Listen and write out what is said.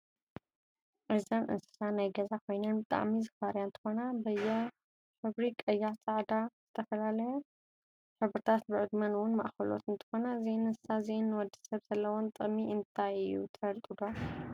እዙን እንስሳ ናይ ገዛ ኮይነን ብጣዓሚ ዝፋረያ እንትኮነ በየ ሕብቭሪ ቀያሕ፣ ፃዕዳ፣ ፀላም ዝተፈላላየ ሕብርታት ብዕድመ እውን ማእከሎት እንትኮናኘ እዚን እንስሳ እዚአን ንወድሰብ ዘለወን ጥቅም እንትይ ትፍልጥዶ?